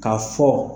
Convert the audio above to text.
K'a fɔ